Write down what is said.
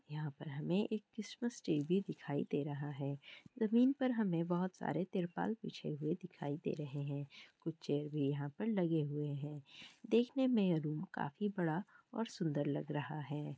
यहाँ पर हमे क्रिसमस ट्री भी दिखाई दे रहा है। जमीन पर हमे बहुत सारी तिरपाल बिछे हुए दिखाई दे रहे हैं। कुछ चेयर यहाँ पर लगे हुए हैं। देखने में रूम काफी बड़ा और सुन्दर लग रहा है।